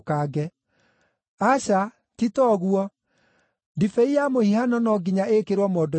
Aca, ti ta ũguo, ndibei ya mũhihano no nginya ĩĩkĩrwo mondo-inĩ njerũ.